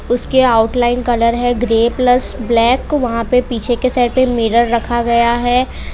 उसके outline colour है grey plus black वहां पे पीछे के साइड पे मिरर रखा गया है।